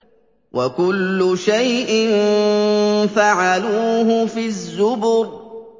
وَكُلُّ شَيْءٍ فَعَلُوهُ فِي الزُّبُرِ